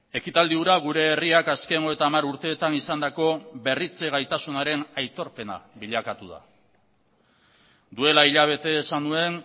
ekitaldi hura gure herriak azken hogeita hamar urteetan izandako berritze gaitasunaren aitorpena bilakatu da duela hilabete esan nuen